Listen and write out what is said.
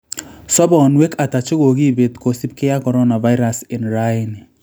Soponwek ata chekokipet kosipkei ak coronavirus en raini